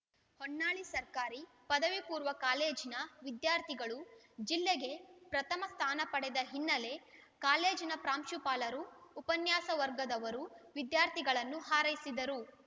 ಹೊನ್ನಾಳಿ ಸರ್ಕಾರಿ ಪದವಿ ಪೂರ್ವ ಕಾಲೇಜಿನ ವಿದ್ಯಾರ್ಥಿಗಳು ಜಿಲ್ಲೆಗೆ ಪ್ರಥಮ ಸ್ಥಾನಪಡೆದ ಹಿನ್ನೆಲೆ ಕಾಲೇಜಿನ ಪ್ರಾಂಶುಪಾಲರು ಉಪನ್ಯಾಸಕವರ್ಗದವರು ವಿದ್ಯಾರ್ಥಿಗಳನ್ನು ಹಾರೈಸಿದರು